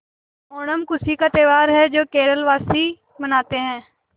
ओणम खुशी का त्यौहार है जो केरल वासी मनाते हैं